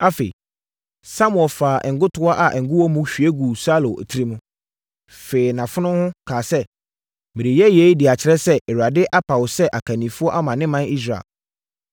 Afei, Samuel faa ngotoa a ngo wɔ mu hwie guu Saulo tirim, fee nʼafono ho, kaa sɛ, “Mereyɛ yei de akyerɛ sɛ Awurade apa wo sɛ ɔkannifoɔ ama ne ɔman Israel.